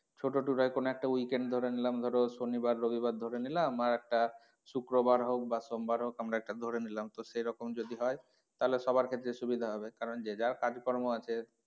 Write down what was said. ছোটো tour হয় কোনো একটা weekend ধরে নিলাম ধরো শনিবার রবিবার ধরে নিলাম আর একটা শুক্রবার হোক বা সোমবার হোক, আমরা একটা ধরে নিলাম তো সেরকম যদি হয় তাহলে সবার ক্ষেত্রে সুবিধা হবে কারন যে যার কাজ কর্ম আছে,